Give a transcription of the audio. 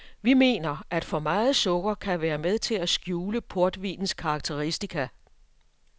Vi mener, at for meget sukker kan være med til at skjule portvinens karakteristika.